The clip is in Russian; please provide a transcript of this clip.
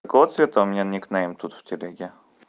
какого цвета цвета у меня никнейм тут в телеге